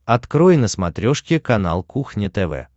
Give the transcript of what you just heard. открой на смотрешке канал кухня тв